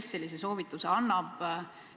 Kes sellise soovituse annab?